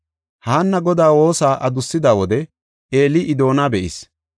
Haanna Godaa woosa adussida wode Eeli I doona be7ees.